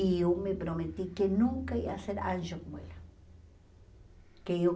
E eu me prometi que nunca ia ser anjo como ela. Que eu